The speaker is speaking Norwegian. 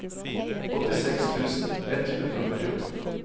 åttiseks tusen ett hundre og førtiåtte